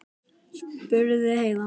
spurði Heiða.